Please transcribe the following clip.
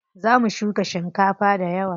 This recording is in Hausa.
Za mu shuka shinkafa dayawa.